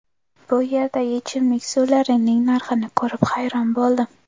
Bu yerdagi ichimlik suvlarining narxini ko‘rib, hayron bo‘ldim.